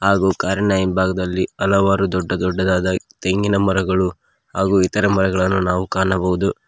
ಹಾಗೂ ಕಾರಿನ ಹಿಂಭಾಗದಲ್ಲಿ ಹಲವಾರು ದೊಡ್ಡ ದೊಡ್ಡದಾದ ತೆಂಗಿನ ಮರಗಳು ಹಾಗೂ ಇತರ ಮರಗಳನ್ನು ನಾವು ಕಾಣಬಹುದು.